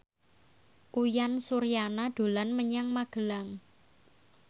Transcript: Uyan Suryana dolan menyang Magelang